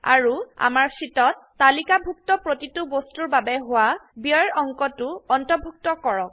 আৰু আমাৰ শীটত তালিকাভুক্ত প্ৰতিটো বস্তুৰ বাবে হোৱা ব্যয়ৰ অঙ্কটোঅন্তৰ্ভুত্ত কৰক